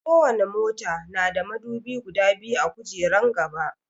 Ko wani mota na da madubi guda biyu a gujeran gaba